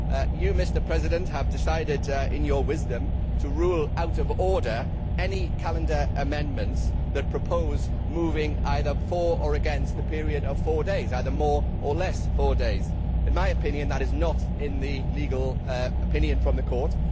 You, Mr President, have decided in your wisdom to rule out of order any calendar amendments that propose moving either for or against the period of four days, either more or less four days. In my opinion that is not in the legal opinion from the Court.